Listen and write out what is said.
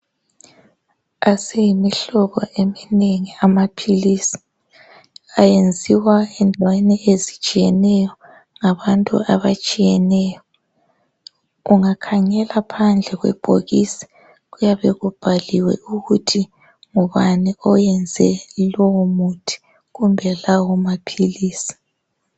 Aseyimihlobo eminengi amaphilisi ayenziwa endaweni ezitshiyeneyo ngabantu abatshiyeneyo ungakhangela phandle kwebhokisi kuyabe kubhaliwe ukuthi ngubani oyenze lowu muthi kumbe lawo maphilisi.